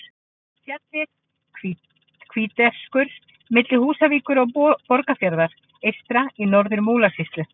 Fjallið Hvítserkur milli Húsavíkur og Borgarfjarðar eystri í Norður-Múlasýslu.